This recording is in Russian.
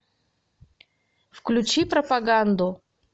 включи пропаганду